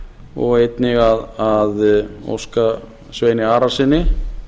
og einnig að óska sveini arasyni